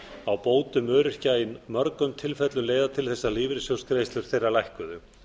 á bótum öryrkja í mörgum tilfellum leiða til þess að lífeyrissjóðsgreiðslur þeirra lækkuðu